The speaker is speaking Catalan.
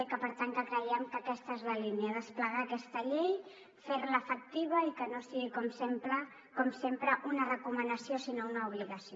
i per tant creiem que aquesta és la línia desplegar aquesta llei fer la efectiva i que no sigui com sempre una recomanació sinó una obligació